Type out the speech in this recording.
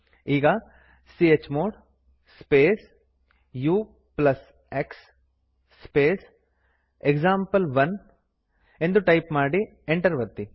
ಈಗ chmod space ux space example one ಎಂದು type ಮಾಡಿ ಎಂಟರ್ ಒತ್ತಿ